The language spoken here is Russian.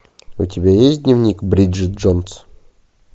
у тебя есть дневник бриджит джонс